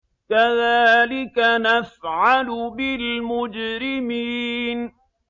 كَذَٰلِكَ نَفْعَلُ بِالْمُجْرِمِينَ